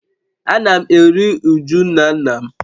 Ana m eru uju nna nna m